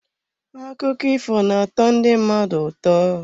Akụkọ ifo na-atọ ndị mmadụ ụtọ.